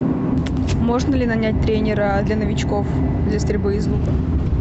можно ли нанять тренера для новичков для стрельбы из лука